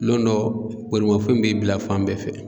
Lon dɔ bolimafɛn b'i bila fan bɛɛ fɛ